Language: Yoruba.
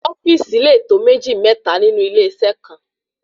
ofíìsì le tó méjì ,mẹ́ta nínú ilé iṣẹ kan